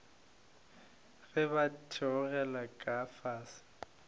ge ba theogela ka fase